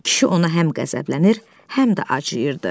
Kişi ona həm qəzəblənir, həm də acıyırdı.